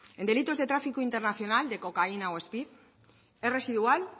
en delitos de tráfico internacional de cocaína o speed es residual